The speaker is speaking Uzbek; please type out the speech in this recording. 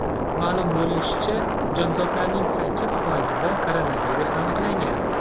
Ma’lum bo‘lishicha, jonzotlarning sakkiz foizida koronavirus aniqlangan.